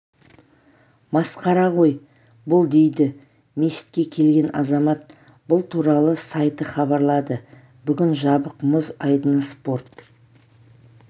масқара ғой бұл дейді мешітке келген азамат бұл туралы сайты хабарлады бүгін жабық мұз айдыны спорт